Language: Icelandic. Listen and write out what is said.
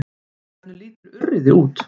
Hvernig lítur urriði út?